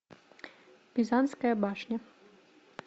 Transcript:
пизанская башня